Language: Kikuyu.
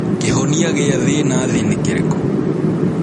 Kĩhonia gĩa thĩna thĩ nĩkĩrĩkũ?